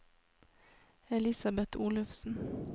Elisabet Olufsen